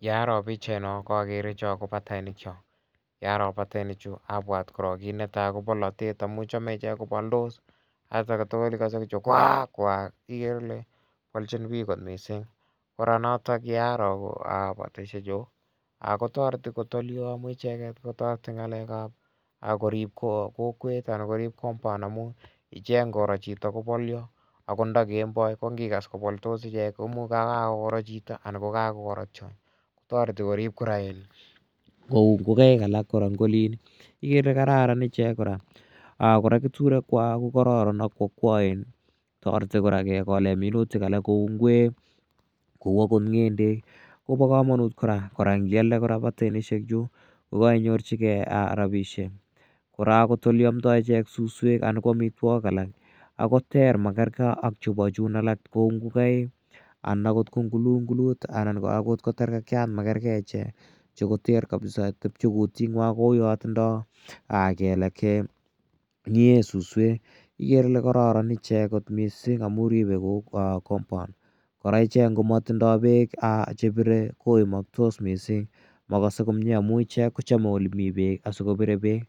Ye aro pichaino ko akere cho ko patainik cho. Ye aro patainichu apwat korook kiit ne tai korok ko polatet amu chame ichek kopaldos sait age tugul ikase kwaak kwaak! Ikere ile polchin pich kot missing'. Kora notok ye aro pataishechu ko tareti kot oli amu icheget ko tareti ng'alek ap korip kokwet anan korip compound amu ichek ngoro chito kopolia. Ako nda kemboi ko ngikas kopoldos ichek ko imuch kakoro chito anan ko kakoro tiony. Ko tareti korip kora en kou ngokaik alak kora eng' olin ikere ile kararan kora. Kora keturekwak ko kararan sk ko akwaen. Tareti kora kekole minutik alak kou ngweek kou akot ng'endek ko pa kamanut kora. Kora ngialde kora patainichu ko kainyorchigei rapishek. Kora akot ole amdai ichek suswek anan ko amitwogik alak ko ter, ma kergei ak chepo chun alak kou ngokaik, anan akot kou ngulungulut anan akot ko terkekyat ko makergei ichek. Chu koter kapisa tepche kutinwa kouya tindai keleek che ng'ee suswek ikere ile kararan ichek missing' amu ripe compound. Kora ichek ngo matindai peek che pire ko imaktos missing'. Ma kase komue amu ichek ko chame ole mi peek asikopire peek.